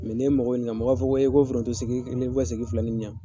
n'i ye mɔgɔw ɲiniŋa, mɔgɔw b'a fɔ ko foronto segi, n'i be ka segi fila nin ɲa